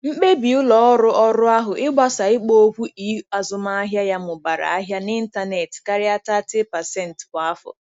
Mkpebi ụlọ ọrụ ọrụ ahụ ịgbasa ikpo okwu e-azụmahịa ya mụbara ahịa n'ịntanetị karịa 30% kwa afọ.